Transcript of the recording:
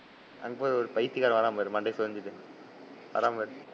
அங்க பாரு ஒரு பைத்தியக்காரன் வரான் பாரு மண்டைய சொரிஞ்சுட்டு வரான் பாரு.